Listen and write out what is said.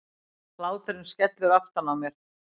Hláturinn skellur aftan á mér.